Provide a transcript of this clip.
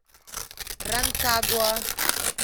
ранкагуа